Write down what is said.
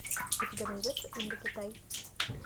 у тебя найдется индокитай